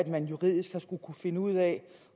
man juridisk har skullet finde ud af